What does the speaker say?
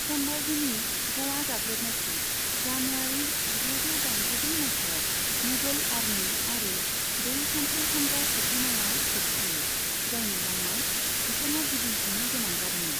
सम्भाजीनि ग'वा गाग्लोबनायखौ जानुवारि जिद'जौ दाइनजिब्रै माइथायाव मुगल आर्मि आरो दै सानथ्रि हानजा सौफैनाया होबथायो, जायनि जाउनाव बिथाङा गिदिंफिननो गोनां जादोंमोन।